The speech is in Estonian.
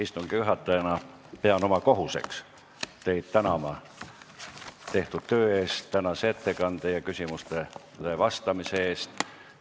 Istungi juhatajana pean oma kohuseks tänada teid tehtud töö, tänase ettekande ja küsimustele vastamise eest!